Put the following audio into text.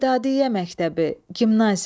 Edadıyyə məktəbi, gimnaziya.